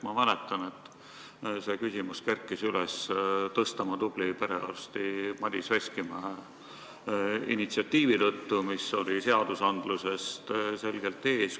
Ma mäletan, et see küsimus kerkis üles Tõstamaa tubli perearsti Madis Veskimäe initsiatiivi tõttu, mis oli seadusandlusest selgelt ees.